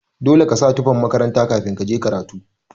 Dole kasa tufan makaranta kafin kaje karatu.